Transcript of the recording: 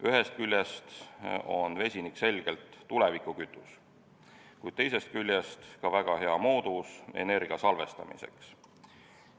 Ühest küljest on vesinik selgelt tulevikukütus, kuid teisest küljest ka väga hea vahend energia salvestamiseks.